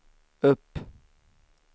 upp